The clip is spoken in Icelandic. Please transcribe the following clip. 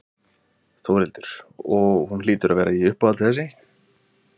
Þórhildur: Og hún hlýtur að vera í uppáhaldi þessi?